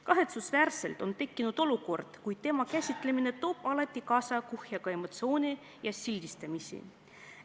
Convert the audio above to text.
Kahetsusväärselt on tekkinud olukord, kui teema käsitlemine toob alati kaasa kuhjaga emotsioone ja sildistamist.